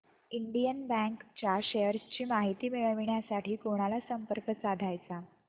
Indian bank च्या shares ची माहिती मिळविण्यासाठी कोणाला संपर्क साधायचा